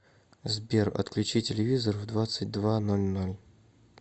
сбер отключи телевизор в двадцать два ноль ноль